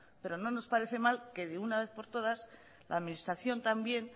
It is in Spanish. pero no nos parece mal que de una vez por todas la administración también